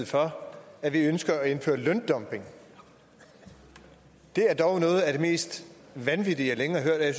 for at vi ønsker at indføre løndumping er dog noget af det mest vanvittige jeg længe har hørt og jeg